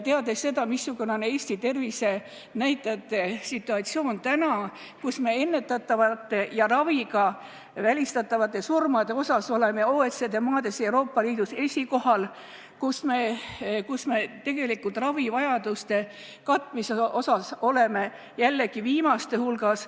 Teame seda, missugune on praegu Eesti tervisenäitajate situatsioon – me oleme ennetatavate ja raviga välistatavate surmade poolest OECD maade hulgas Euroopa Liidus esikohal, samas aga ravivajaduste katmise kohapealt jällegi viimaste hulgas.